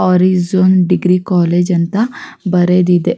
Horizon degree college ಅಂತ ಬರೆದಿದೆ.